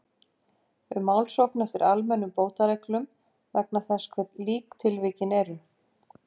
um málsókn eftir almennum bótareglum vegna þess hve lík tilvikin eru.